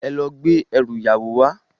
Èlò gbé èrú iyáwó wá